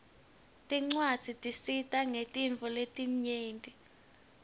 tincwadzi tisita ngetintfo letinyenti